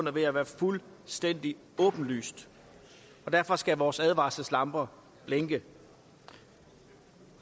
er ved at være fuldstændig åbenlyst og derfor skal vores advarselslamper blinke